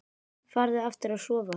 Farðu aftur að sofa.